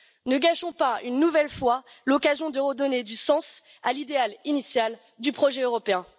Ne gâchons pas une nouvelle fois l'occasion de redonner du sens à l'idéal initial du projet européen.